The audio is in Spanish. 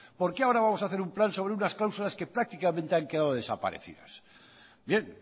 por qué ahora vamos a hacer un plan sobre unas cláusulas que prácticamente han quedado desaparecidas bien